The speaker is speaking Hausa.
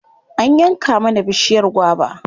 An yanke mana bishiyar gwaba.